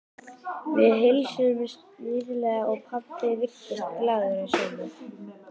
Við heilsuðumst hlýlega og pabbi virtist glaður að sjá mig.